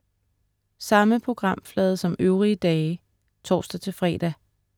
Samme programflade som øvrige dage (tors-fre)